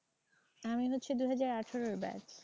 আমি হচ্ছি দু হাজার আঠেরোর batch